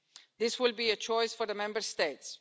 This will be a choice for the Member States.